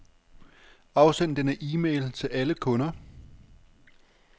Afsend denne e-mail til alle kunder.